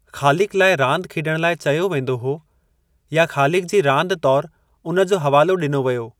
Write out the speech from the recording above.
ख़ालिकु लाइ रांदि खेॾणु लाइ चयो वेंदो हो या 'ख़ालिकु जी रांदि' तौरु उन जो हवालो ॾिनो वियो।